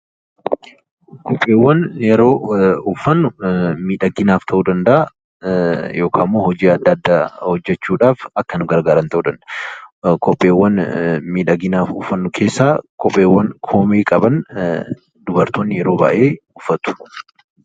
Kopheewwan yeroo uffannu miidhaginaaf ta'uu danda'aa, yookaan immoo hojii adda addaa hojjechuu dhaaf akka nu gargaaran ta'uu danda'aa. Kopheewwan miidhaginaaf uffannu keessaa kopheewwan koomee qaban dubartoonni yeroo baay'ee uffatu.